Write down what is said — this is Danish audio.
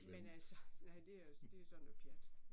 Men altså, nej det også det så noget pjat